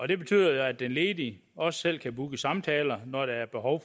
det betyder jo at den ledige også selv kan booke samtaler når der er behov